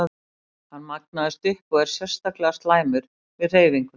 Hann magnast upp og er sérstaklega slæmur við hreyfingu.